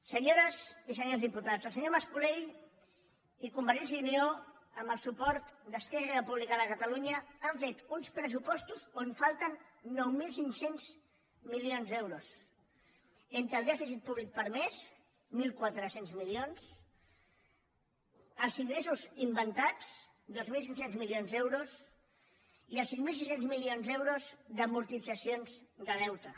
senyores i senyors diputats el senyor mas colell i convergència i unió amb el suport d’esquerra republicana de catalunya han fet uns pressupostos on falten nou mil cinc cents milions d’euros entre el dèficit públic permès mil quatre cents milions els ingressos inventats dos mil cinc cents milions d’euros i els cinc mil cinc cents milions d’euros d’amortitzacions de deute